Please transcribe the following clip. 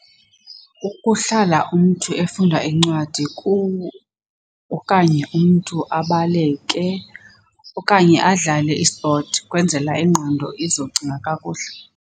Ukuhlala umntu efunda incwadi okanye umntu abaleke okanye adlale i-sport kwenzela ingqondo izocinga kakuhle.